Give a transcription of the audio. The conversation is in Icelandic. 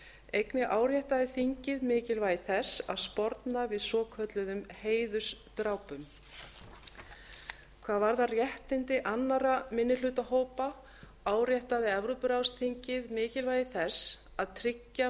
einnig áréttaði þingið mikilvægi þess að sporna við svokölluðum heiðursdrápum hvað varðar réttindi annarra minnihlutahópa áréttaði evrópuráðsþingið mikilvægi þess að tryggja